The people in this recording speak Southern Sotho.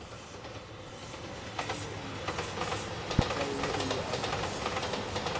mo tswalang o ne a